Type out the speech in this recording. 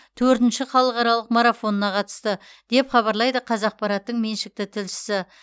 төртінші халықаралық марафонына қатысты деп хабарлайды қазақпараттың меншікті тілшісі